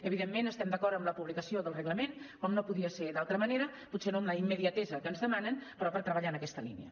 evidentment estem d’acord amb la publicació del reglament com no podia ser d’altra manera potser no amb la immediatesa que ens demanen però per treballar en aquesta línia